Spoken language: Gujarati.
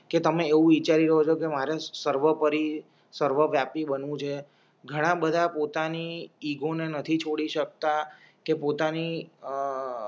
કે તમે એવું વિચારી હોય કે મારે સર્વોપરી સર્વ વ્યાપી બનવું છે ઘણા બધા પોતાની ઈગોને નથી છોડી શકતા કે પોતાની અ